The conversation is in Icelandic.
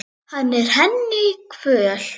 Hann er henni kvöl.